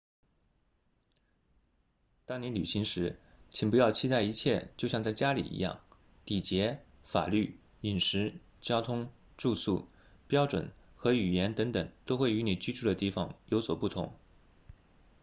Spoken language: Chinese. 当你旅行时请不要期待一切就像在家里一样礼节法律饮食交通住宿标准和语言等等都会与你居住的地方有所不同